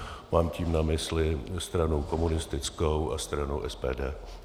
Mám tím na mysli stranu komunistickou a stranu SPD.